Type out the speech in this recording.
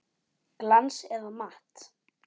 Glans eða matt?